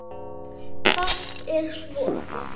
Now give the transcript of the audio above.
Fátt er svo.